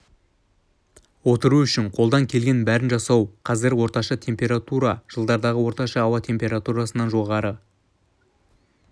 отыру үшін қолдан келгеннің бәрін жасау қазір орташа температура жылдарғы орташа ауа температурасынан жоғары